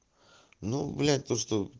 ну блять то что